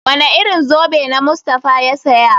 Wane irin zobe na Mustapha ya saya?